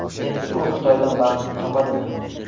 Endi u Xitoydan baxtini topadimi?